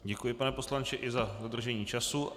Děkuji, pane poslanče, i za dodržení času.